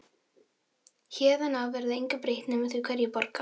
Héðan af verður engu breytt nema því hverjir borga.